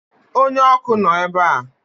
Onye ọkụ nọ ebe a